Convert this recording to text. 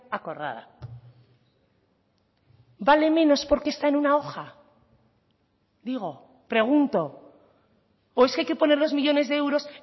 acordada vale menos porque está en una hoja digo pregunto o es que hay que poner los millónes de euros